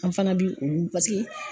An fana bi olu